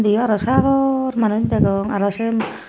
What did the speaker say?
indi aro sagor manuj degong aro sey.